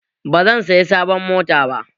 Ba zan saya sabon mota ba